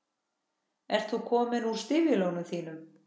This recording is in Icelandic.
Ert þú kominn úr stígvélunum þínum?